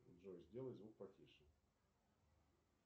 джой сделай звук потише